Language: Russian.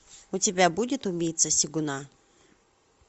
у тебя будет убийца сегуна